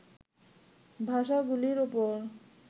ভাষাগুলির উপর